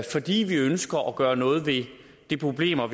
fordi vi ønsker at gøre noget ved de problemer